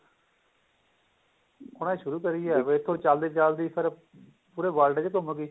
ਉਹਨਾ ਨੇ ਸ਼ੁਰੂ ਕਰਾਈ ਏ ਦੇਖੋ ਚੱਲਦੇ ਚੱਲਦੇ ਇਹ ਫੇਰ ਪੂਰੇ world ਵਿੱਚ ਘੰਮ ਗੀ